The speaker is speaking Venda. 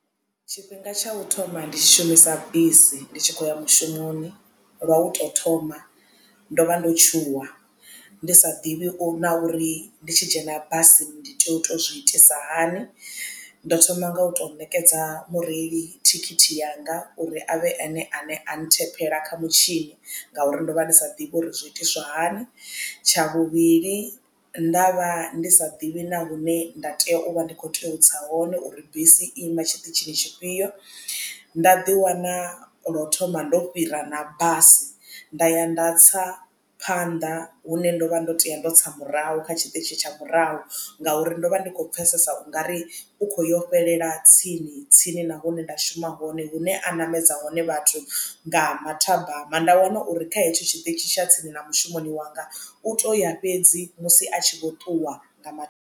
Tshifhinga tsha u thoma ndi tshi shumisa bisi ndi tshi khou ya mushumoni lwa u to thoma ndo vha ndo tshuwa ndi sa ḓivhi u na uri ndi tshi dzhena basini ndi tea u to zwi itisa hani ndo thoma nga u to ṋekedza mureili thikhithi yanga uri avhe ene ane a nthephela kha mutshini ngauri ndo vha ndi sa ḓivhi uri zwi itiswa hani. Tsha vhuvhili nda vha ndi sa ḓivhi na hune nda tea u vha ndi kho tea u tsa hone uri bisi i ima tshiṱitshini tshifhio nda ḓi wana lo thoma ndo fhira na basi nda ya nda tsa phanḓa hune ndo vha ndo teya ndo tsa murahu kha tshiṱitshi tsha murahu ngauri ndo vha ndi khou pfhesesa u nga ri u kho yo fhelela tsini tsini nahune nda shuma hone hune a namedza hone vhathu nga mathabama nda wana uri kha hetsho tshiṱitshi tsha tsini na mushumoni wanga u to ya fhedzi musi a tshi vho ṱuwa nga.